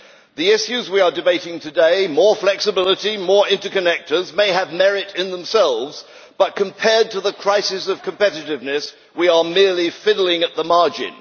The issues we are debating today more flexibility, more interconnectors may have merit in themselves, but compared to the crisis of competitiveness, we are merely fiddling at the margin.